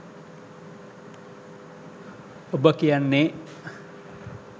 ඔබ කියන්නේ